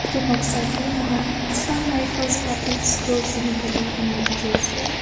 etu noksa te moihan assam rifles public school zunheboto enia dikhi ase.